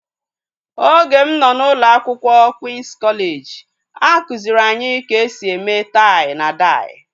Oge m nọ n'ụlọ akwụkwọ Queen's kọleji a kụziri anyị ka e si eme tai na dai